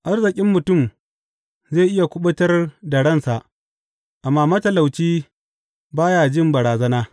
Arzikin mutum zai iya kuɓutar da ransa, amma matalauci ba ya jin barazana.